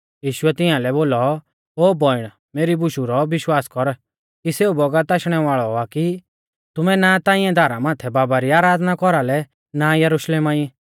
यीशुऐ तियांलै बोलौ ओ बौइण मेरी बुशु रौ विश्वास कर कि सेऊ बौगत आशणै वाल़ौ आ कि तुमै ना ता इऐं धारा माथै बाबा री आराधना कौरालै ना यरुशलेमा ई